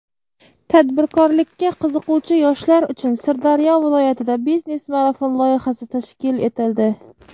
Tadbirkorlikka qiziquvchi yoshlar uchun Sirdaryo viloyatida "Biznes marafon" loyihasi tashkil etildi;.